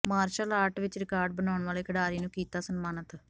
martial art ਵਿਚ record ਬਣਾਉਣ ਵਾਲੇ ਖਿਡਾਰੀ ਨੂੰ ਕੀਤਾ ਸਨਮਾਨਿਤ